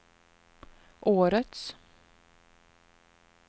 årets